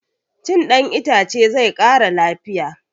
Cin ɗan itace zai ƙara lafiya